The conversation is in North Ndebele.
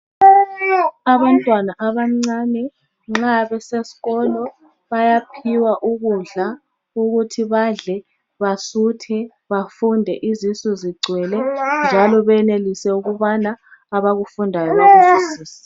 Abantwana abancane nxa besesikolo bayaphiwa ukudla ukuthi badle basuthe bafunde izisu zigcwele njalo benelise ukubana abakufundayo bakuzwisise.